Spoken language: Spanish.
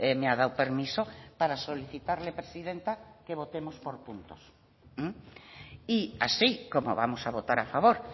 me ha dado permiso para solicitarle presidenta que votemos por puntos y así como vamos a votar a favor